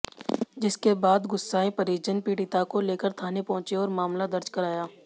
जिसके बाद गुस्साएं परिजन पीडि़ता को लेकर थाने पहुंचे और मामला दर्ज कराया